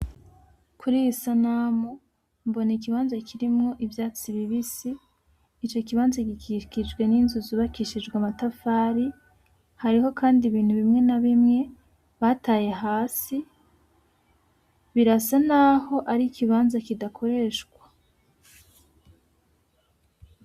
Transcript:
Kuri iyi sanamu, mbona ikibanza kirimwo ivyatsi bibisi, ico kibanza gikikijwe n'inzu zubakishijwe amatafari, hariho kandi ibintu bimwe na bimwe bataye hasi. Birasa naho ari ikibanza kidakoreshwa.